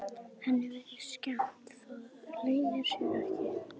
Henni virðist skemmt, það leynir sér ekki.